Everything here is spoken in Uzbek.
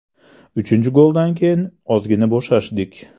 Uchinchi goldan keyin ozgina bo‘shashdik.